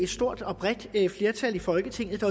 stort og bredt flertal i folketinget